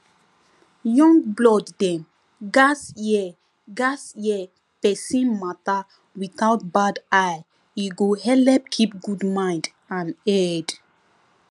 young blood dem gatz hear gatz hear pesin matter without bad eye e go helep keep good mind and head